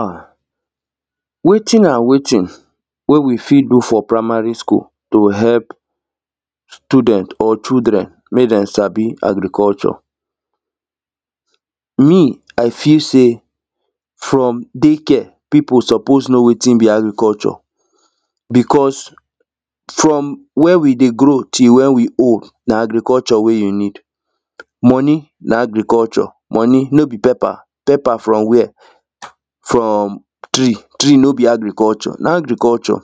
́ Ah! wetin and wetin wey we fit do for primary school to help student or children make them sabi agriculture? Me, I feel say from daycare, people suppose know wetin be agriculture because from when we dey grow till when we old na agriculture wey you need money na agriculture, money, no be paper? Paper, from where? From tree. Tree no be agriculture? Na agriculture.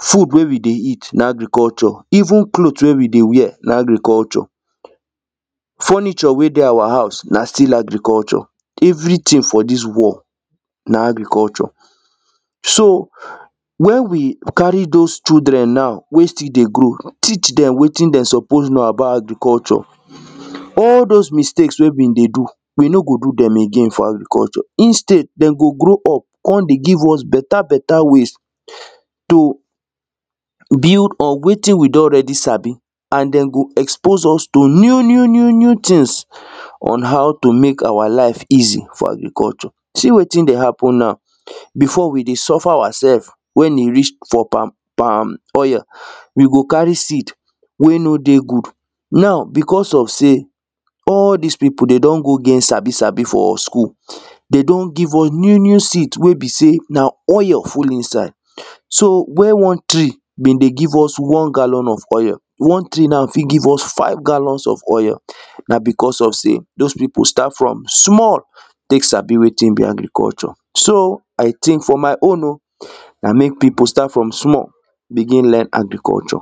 Food wey we dey eat, na agriculture even cloth wey we dey wear na agriculture. Furniture wey dey our house na still agriculture everything for this world, na agriculture. So, where we carry those children now wey still dey grow teach them wetin dey suppose know about agriculture. All those mistake wey be dey do we no go do them again for agriculture, instead dey go grow up come dey give us better better ways to build on wetin we don already sabi and them go expose us to new new new new things on how to make our life easy for agriculture. See wetin dey happen now, before, we dey suffer ourselves wey e reach for palm palm oil, we go carry seed wey no dey good now because of say all these people them don go get sabi sabi for school, them don give us new new seed wey be say na oil full inside so, wey one tree be dey give us one gallon of oil, one tree now fit give us five gallons of oil na because of say those people start from small take sabi wetin be agriculture. So, I think for my own o, na make people start from small begin learn agriculture.